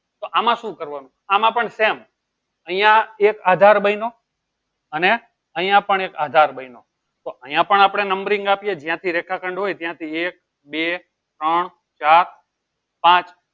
તો આમાં શું કરવાનું? આમાં પણ same અહીંયા એક આધાર બન્યો અને અહીંયા પણ એક આધાર બન્યો તો અહીંયા પણ આપણે numbering આપીએ જ્યાંથી રેખાખંડ હોય ત્યાંથી એક બે ત્રણ ચાર પાંચ